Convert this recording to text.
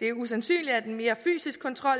det er usandsynligt at mere fysisk kontrol